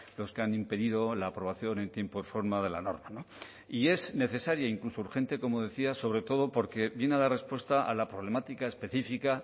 los que han impedido la aprobación en tiempo y forma de la norma no y es necesaria e incluso urgente como decía sobre todo porque viene a dar respuesta a la problemática específica